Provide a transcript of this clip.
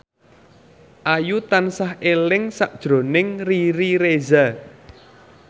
Ayu tansah eling sakjroning Riri Reza